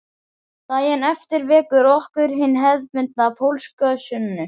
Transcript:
Daginn eftir vekur okkur hin hefðbundna pólska sunnu